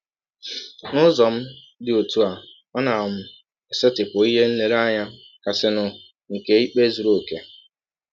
N’ụzọ um dị ọtụ a, ọ na um - esetịpụ ihe nlereanya kasịnụ nke ikpe zụrụ ọkè.